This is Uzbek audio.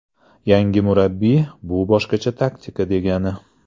Yangi murabbiy, bu boshqacha taktika degani”.